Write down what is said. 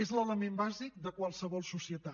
és l’element bàsic de qualsevol societat